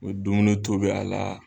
O dumunu tobi a la.